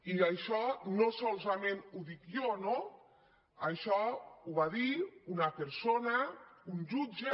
i això no solament ho dic jo no això ho va dir una persona un jutge